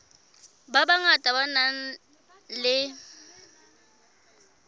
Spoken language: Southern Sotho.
ba bangata ba nang le